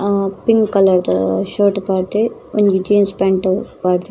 ಆ ಪಿಂಕ್ ಕಲರ್ದ ಶರ್ಟ್ ಪಾಡ್ದೆ ಒಂಜಿ ಜೀನ್ಸ್ ಪ್ಯಾಂಟ್ ಪಾಡ್ದೆ.